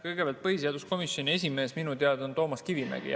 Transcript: Kõigepealt, põhiseaduskomisjoni esimees on minu teada jätkuvalt Toomas Kivimägi.